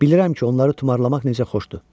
Bilirəm ki, onları tumarlamaq necə xoşdur.